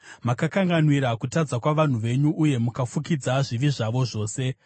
Makakanganwira kutadza kwavanhu venyu, uye mukafukidza zvivi zvavo zvose. Sera